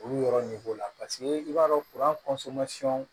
Olu yɔrɔ nege la paseke i b'a dɔn kuran